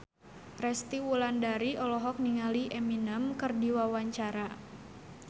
Resty Wulandari olohok ningali Eminem keur diwawancara